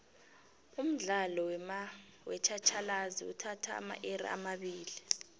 umdlalo wetjhatjhalazi uthatha amairi amabili